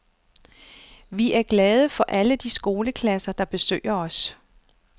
Vi er glade for alle de skoleklasser, der besøger os.